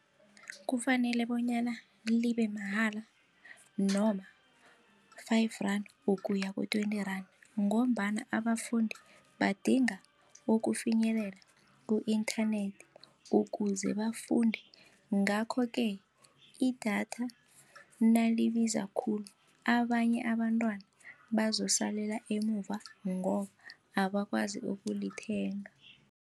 Kufanele bonyana libemahala noma-five rand ukuya ku-twenty randa ngombana abafundi badinga ukufinyelela ku-internet ukuze bafunde ngakho ke, idatha nakalibiza khulu abanye abantwana bazosalela emuva ngoba abakwazi ukulithenga.